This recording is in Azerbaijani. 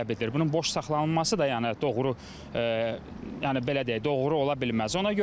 Bunun boş saxlanılması da, yəni doğru, yəni belə deyək, doğru ola bilməz.